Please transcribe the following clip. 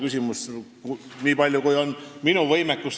Tuleb välja uurida, niipalju kui mul on võimekust.